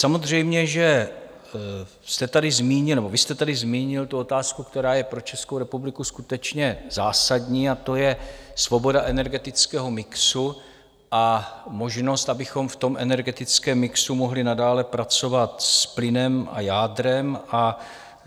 Samozřejmě že vy jste tady zmínil tu otázku, která je pro Českou republiku skutečně zásadní, a to je svoboda energetického mixu a možnost, abychom v tom energetickém mixu mohli nadále pracovat s plynem a jádrem.